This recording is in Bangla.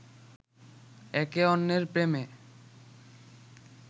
একে অন্যের প্রেমে